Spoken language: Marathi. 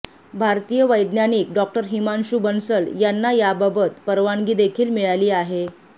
भारतीय वैज्ञानिक डॉक्टर हिमांशू बंसल यांना याबाबत परवानगीदेखील मिळाली आहे